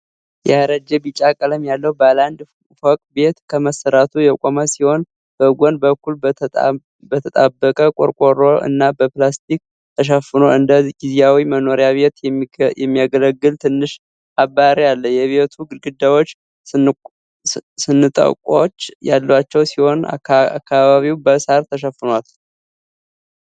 ያረጀ ቢጫ ቀለም ያለው ባለ አንድ ፎቅ ቤት ከመሰረቱ የቆመ ሲሆን፣ በጎን በኩል በተጣበቀ ቆርቆሮ እና በፕላስቲክ ተሸፋፍኖ እንደ ጊዜያዊ መኖሪያ ቤት የሚያገለግል ትንሽ አባሪ አለ። የቤቱ ግድግዳዎች ስንጥቆች ያሏቸው ሲሆን፣ አካባቢው በሳር ተሸፍኗል።